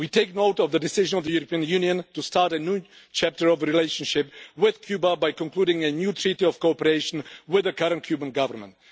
We take note of the decision of the European Union to start a new chapter of relationship with Cuba by concluding a new treaty of cooperation with the current Cuban Government.